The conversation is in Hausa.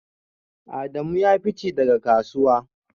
Adamu ya fice daga kasuwa